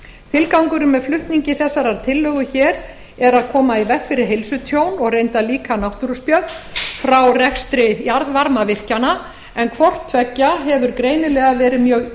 tilgangurinn með flutningi þessarar tillögu er að koma í veg fyrir heilsutjón og reyndar líka náttúruspjöll frá rekstri jarðvarmavirkjana en hvort tveggja hefur greinilega verið mjög